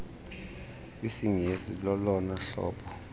kwisingesi lolona hlobo